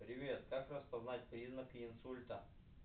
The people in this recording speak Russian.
привет как распознать признаки инсульта